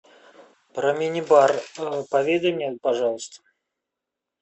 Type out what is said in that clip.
про мини бар поведай мне пожалуйста